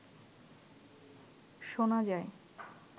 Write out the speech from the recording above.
শোনা যায়